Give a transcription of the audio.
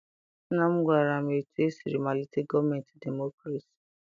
Nna m gwara m etu esiri malitere gọọmentị demokrasi.